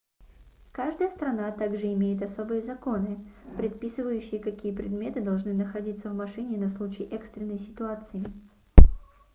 каждая страна также имеет особые законы предписывающие какие предметы должны находится в машине на случай экстренной ситуации